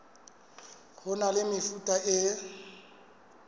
ho na le mefuta e